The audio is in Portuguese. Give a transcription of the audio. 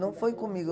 Não foi comigo.